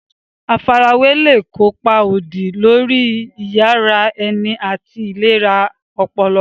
Àfarawé lè kó ipa òdì lórí iyì ara ẹni àti ìlera ọpọlọ.